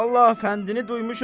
Vallahi fəndini duymuşam.